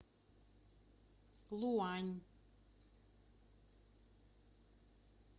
луань